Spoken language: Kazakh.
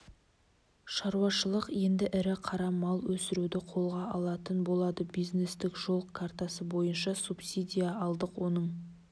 шаруашылық енді ірі қара мал өсіруді қолға алатын болады бизнестік жол картасы бойынша субсидия алдық оның